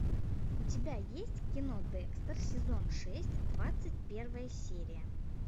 у тебя есть кино декстер сезон шесть двадцать первая серия